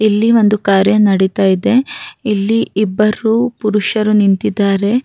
ಈ ಚಿತ್ರ ನೋಡುವುದರಲ್ಲಿ ಆಕಾಶ ಕಪ್ಪು ಬಣ್ಣದಾಗಿದೆ ಇಲ್ಲಿ ತುಂಬ ಕಟ್ಟಡಗಳಿವೆ.